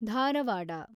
Dharwad